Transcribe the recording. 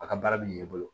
A ka baara bɛ ɲɛ i bolo